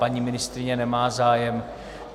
Paní ministryně nemá zájem.